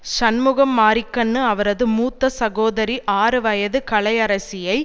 சண்முகம் மாரிக்கண்ணு அவரது மூத்த சகோதரி ஆறு வயது கலை அரசியை